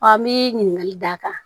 n bi ɲininkali d'a kan